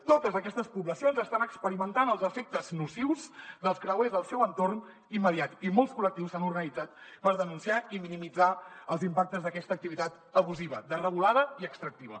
totes aquestes poblacions estan experimentant els efectes nocius dels creuers al seu entorn immediat i molts col·lectius s’han organitzat per denunciar i minimitzar els impactes d’aquesta activitat abusiva desregulada i extractiva